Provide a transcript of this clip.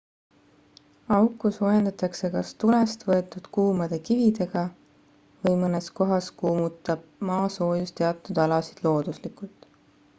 auku soojendatakse kas tulest võetud kuumade kividega või mõnes kohas kuumutab maasoojus teatud alasid looduslikult